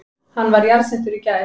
Hann var jarðsettur í gær